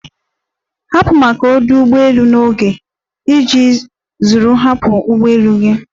Hapụ maka ọdụ ụgbọ elu n'oge iji zere ịhapụ ụgbọ elu gị!